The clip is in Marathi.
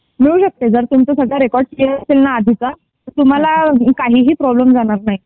मिळू शकते जर जर तुमचा रेकॉर्ड सगळा क्लियर असेल ना आधीचा तर तुम्हाला काहीही प्रॉब्लेम जाणार नाही.